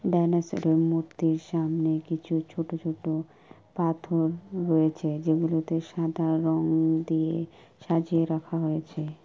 ডাইনোসরের মূর্তির সামনে কিছু ছোট ছোট পাথর রয়েছে। যেগুলোতে সাদা রং দিয়ে সাজিয়ে রাখা হয়েছে।